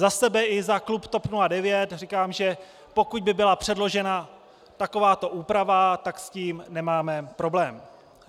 Za sebe i za klub TOP 09 říkám, že pokud by byla předložena takováto úprava, tak s tím nemáme problém.